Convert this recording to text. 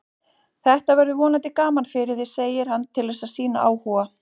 Þetta verður vonandi gaman fyrir þig, segir hann til að sýna áhuga.